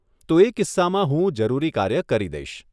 તો એ કિસ્સામાં હું જરૂરી કાર્ય કરી દઈશ.